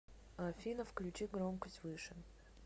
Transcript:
афина включи громкость выше